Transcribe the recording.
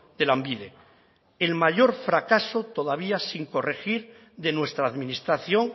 de lanbide el mayor fracaso todavía sin corregir de nuestra administración